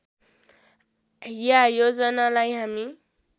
या योजनालाई हामी